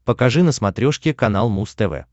покажи на смотрешке канал муз тв